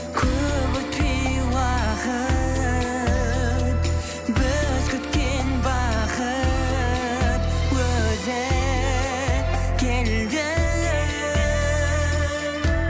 көп өтпей уақыт біз күткен бақыт өзі келді